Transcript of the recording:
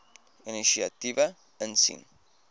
inisiatiewe insien